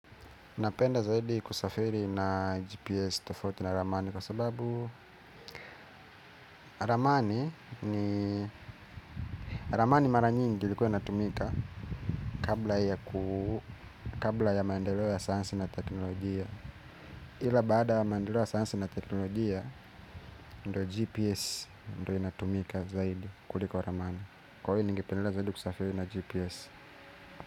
Napenda zaidi kusafiri na GPS tofauti na ramani kwa sababu ramani ni ramani mara nyingi ilikuwa inatumika kabla ya maendeleo ya sayansi na teknolojia ila baada ya maendeleo ya sayansi na teknolojia ndo GPS ndo inatumika zaidi kuliko ramani. Kwa hiyo ningependela zaidi kusafiri na GPS.